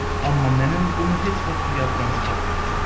Amma nənən bunu heç vaxt yaddan çıxartmayacaqdır.